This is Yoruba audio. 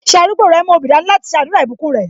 Ṣé arúgbó rẹ mú obì dání láti ṣe àdúrà ìbùkún rẹ?